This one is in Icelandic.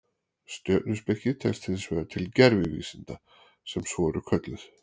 Stjörnuspeki telst hins vegar til gervivísinda sem svo eru kölluð.